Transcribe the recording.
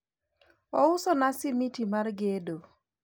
ousona smiti mar gedo